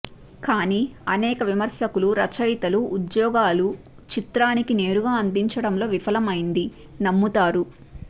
కానీ అనేక విమర్శకులు రచయితలు ఉద్యోగాలు చిత్రానికి నేరుగా అందించటంలో విఫలమైంది నమ్ముతారు